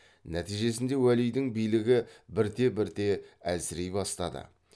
нәтижесінде уәлидің билігі бірте бірте әлсірей бастады